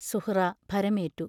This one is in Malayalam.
സുഹ്റാ ഭരമേററു.